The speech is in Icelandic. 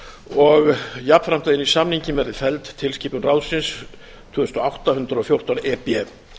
og jafnframt að inn í samninginn verði felld tilskipun ráðsins tvö þúsund og átta hundrað og fjórtán e b